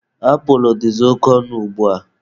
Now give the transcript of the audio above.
Apulụ dịzị oke ọnụ ugbua.